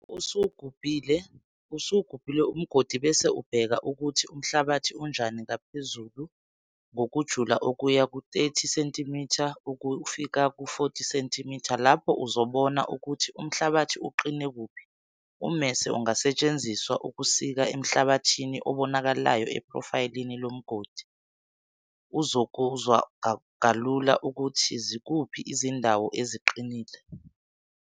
Lapho usuwugubhile umgodi bese ubheke ukuthi umhlabathi unjani ngaphezulu ngokujula okuya ku-30 cm 40 cm, lapho uzobona ukuthi umhlabathi uqine kuphi. Ummese ungasethenziswa ukusika emhlabathini obanakalayo ephrofayilini lomgodi. Uzokuzwa kalula ukuthi zikuphi izindawo eziqinile.